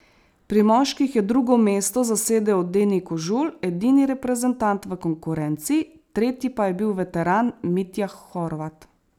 Pri moških je drugo mesto zasedel Deni Kožul, edini reprezentant v konkurenci, tretji pa je bil veteran Mitja Horvat.